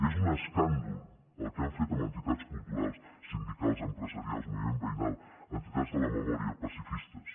és un escàndol el que han fet amb entitats culturals sindicals empresarials moviment veïnal entitats de la memòria pacifistes